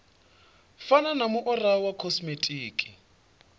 fana na muaro wa khosimetiki